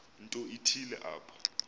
nto ithile apho